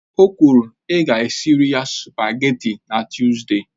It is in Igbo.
O kwuru, ịga esirila sụpágètị̀ na Tuzdee!